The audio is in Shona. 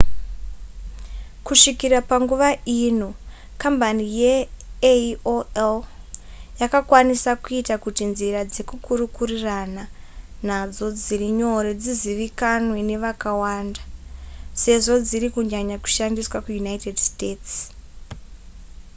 kusvikira panguva ino kambani yeaol yakakwanisa kuita kuti nzira dzekukurukurirana nadzo dziri nyore dzizivikanwe nevakawanda sezvo dziri kunyanya kushandiswa kuunited states